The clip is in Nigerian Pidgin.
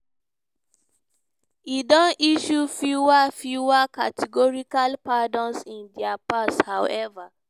e don issue few few categorical pardons in di past however.